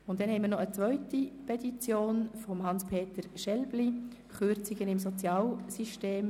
Zudem hat Hans-Peter Schelbli eine zweite Petition eingereicht zum Thema Kürzungen im Sozialsystem.